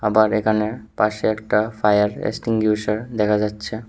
আবার এখানে পাশে একটা ফায়ার এক্সটিঙ্গুইশার দেখা যাচ্ছে।